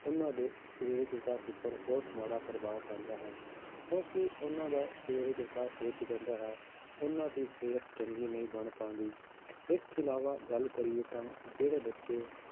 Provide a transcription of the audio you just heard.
ਉਹਨਾਂ ਦੇ ਸਰੀਰਕ ਵਿਕਾਸ ਉੱਪਰ ਬਹੁਤ ਮਾੜਾ ਪ੍ਰਭਾਵ ਪੈਂਦਾ ਹੈ ਕਿਉਂਕਿ ਉਹਨਾਂ ਦਾ ਸਰੀਰਕ ਵਿਕਾਸ ਰੁੱਕ ਜਾਂਦਾ ਹੈ, ਉਹਨਾਂ ਦੀ ਸਿਹਤ ਚੰਗੀ ਨਹੀਂ ਬਣ ਪਾਉਂਦੀ, ਇਸ ਤੋਂ ਇਲਾਵਾ ਗੱਲ ਕਰੀਏ ਤਾਂ ਜਿਹੜੇ ਬੱਚੇ